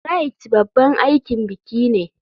Rite babban aikin biki ne.